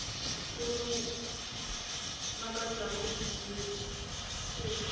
se mo makatšago ebile se